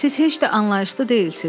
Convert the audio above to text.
Siz heç də anlayışlı deyilsiniz.